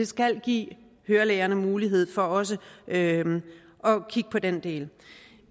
skal give ørelægerne mulighed for også at kigge på den del